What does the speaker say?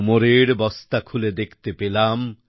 কুমোরের বস্তা খুলে দেখতে পেলাম